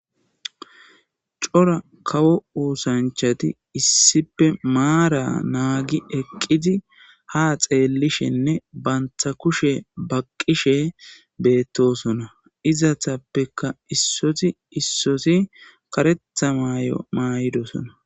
Cora kawo oosanchati issipe maara naagi eqqidi ha xeellishinne bantha kushe baqqishe beettosona izatappeka issoti issoti karetha maay'o maay'idosona.